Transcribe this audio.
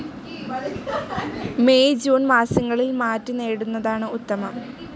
May June മാസങ്ങളിൽ മാറ്റി നേടുന്നതാണ് ഉത്തമം.